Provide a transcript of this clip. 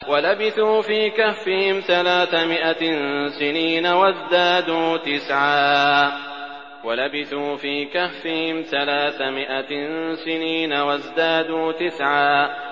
وَلَبِثُوا فِي كَهْفِهِمْ ثَلَاثَ مِائَةٍ سِنِينَ وَازْدَادُوا تِسْعًا